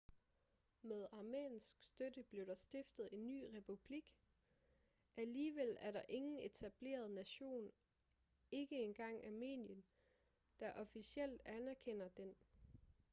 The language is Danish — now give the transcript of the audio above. med armensk støtte blev der stiftet en ny republik alligevel er der ingen etableret nation ikke engang armenien der officielt anerkender den